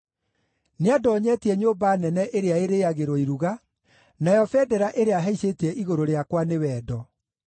Nĩandoonyetie nyũmba nene ĩrĩa ĩrĩĩagĩrwo iruga, nayo bendera ĩrĩa ahaicĩtie igũrũ rĩakwa nĩ wendo.